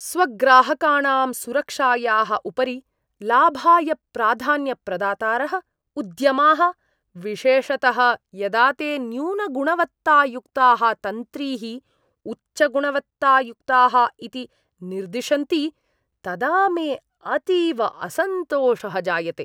स्वग्राहकाणां सुरक्षायाः उपरि लाभाय प्राधान्यप्रदातारः उद्यमाः, विशेषतः यदा ते न्यूनगुणवत्तायुक्ताः तन्त्रीः उच्चगुणवत्तायुक्ताः इति निर्दिशन्ति, तदा मे अतीव असन्तोषः जायते।